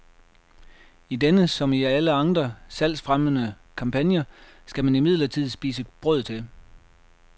I denne, som i alle andre salgsfremmende kampagner, skal man imidlertid spise brød til.